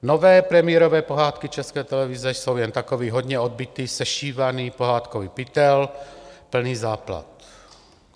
Nové premiérové pohádky České televize jsou jen takový hodně odbytý, sešívaný pohádkový pytel, plný záplat.